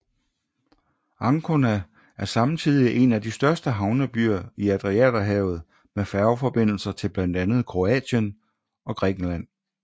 Ancona er samtidig en af de største havnebyer i Adriaterhavet med færgeforbindelser til blandt andet Kroatien og Grækenland